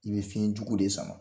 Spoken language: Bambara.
I be fiɲɛ jugu de sama.